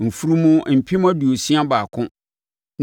mfunumu mpem aduosia baako (61,000);